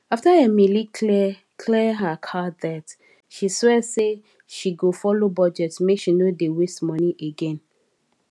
after emily clear clear her card debt she swear say she go follow budget make she no dey waste money again